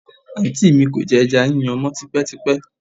Àǹtí mi kò jẹ ẹja yíyan mọ́ tipẹ́tipẹ́